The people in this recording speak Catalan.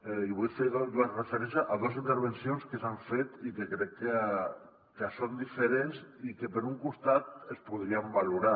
i vull fer referència a dos intervencions que s’han fet i que crec que són diferents i que per un costat es podrien valorar